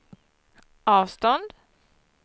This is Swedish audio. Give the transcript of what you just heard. avstånd